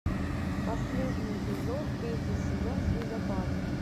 последний эпизод третий сезон снегопад